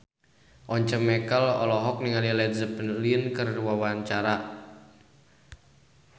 Once Mekel olohok ningali Led Zeppelin keur diwawancara